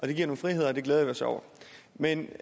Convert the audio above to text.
det giver nogle friheder det glæder vi os over men